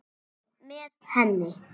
Einn með henni.